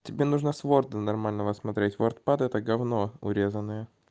тебе нужно с ворда нормального смотреть вордпад это говно урезанное